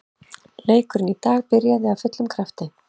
Leikurinn í dag byrjaði af fullum krafti.